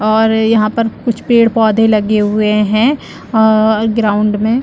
और यहाँ पर कुछ पेड़-पौधे लगे हुए है अ ग्राउंड में--